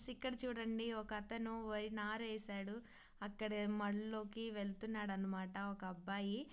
ఇక్కడ చూడండి ఒక ఆతను వరి నారు వేశాడు అక్కడ మడుగు లోకి వెలత్తునడు అన మాట ఒక్క అబ్బాయి --